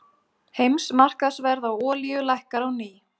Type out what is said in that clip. Heimsmarkaðsverð á olíu lækkar á ný